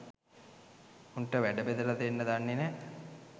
උන් ට වැඩ බෙදලා දෙන්න දන්නෙ නෑ.